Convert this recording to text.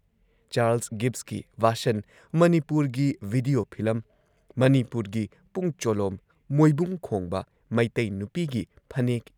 Charles ꯒꯤꯚꯁꯀꯤ version, ꯃꯅꯤꯄꯨꯔꯒꯤ video film, ꯃꯅꯤꯄꯨꯔꯒꯤ ꯄꯨꯡ ꯆꯣꯂꯣꯝ, ꯃꯣꯏꯕꯨꯡ ꯈꯣꯡꯕ, ꯃꯩꯇꯩ ꯅꯨꯄꯤꯒꯤ ꯐꯅꯦꯛ